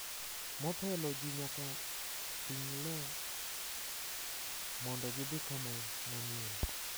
Motelo, ji ne nyaka ting’ le mondo gidhi kama manyien .